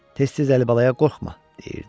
Tez-tez Əlibalaya qorxma, deyirdi.